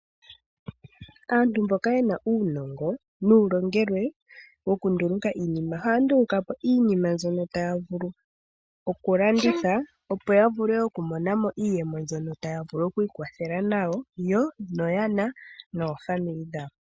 Aantu mboka ye na uunongo nuulongelwe wokunduluka po iinima ohaya nduluka po iinima mbyono taya vulu okulanditha, opo ya vule okumona mo iiyemo mbyono taya vulu oku ikwathela nayo noyana naapambele yawo.